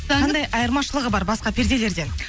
қандай айырмашылығы бар басқа перделерден